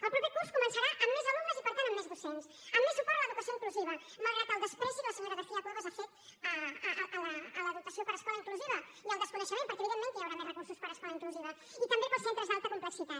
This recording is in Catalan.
el proper curs començarà amb més alumnes i per tant amb més docents amb més suport a l’educació inclusiva malgrat el menyspreu que la senyora garcía cuevas ha fet a la dotació per a escola inclusiva i el desconeixement perquè evidentment que hi haurà més recursos per a escola inclusiva i també per als centres d’alta complexitat